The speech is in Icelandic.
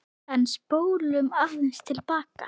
En spólum aðeins til baka.